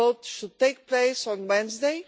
The vote should take place on Wednesday.